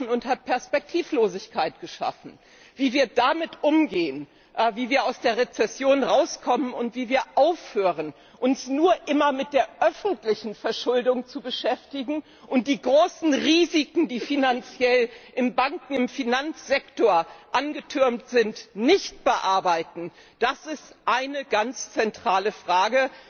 und Perspektivlosigkeit geschaffen. Wie wir damit umgehen, wie wir aus der Rezession herauskommen und wie wir aufhören, uns immer nur mit der öffentlichen Verschuldung zu beschäftigen und die großen Risiken, die finanziell im Banken und im Finanzsektor angetürmt sind, nicht bearbeiten, das ist eine ganz zentrale Frage.